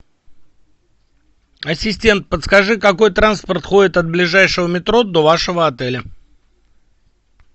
ассистент подскажи какой транспорт ходит от ближайшего метро до вашего отеля